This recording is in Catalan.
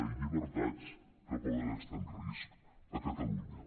i llibertats que poden estar en risc a catalunya